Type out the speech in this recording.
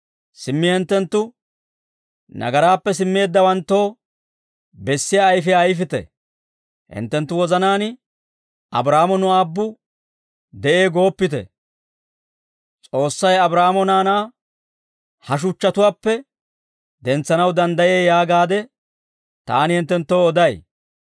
Simmi hinttenttu nagaraappe simmeeddawanttoo bessiyaa ayfiyaa ayfite. Hinttenttu wozanaan Abraahaamo nu aabbu de'ee gooppite. S'oossay Abraahaamoo naanaa ha shuchchatuwaappe dentsanaw danddayee yaagaade taani hinttenttoo oday.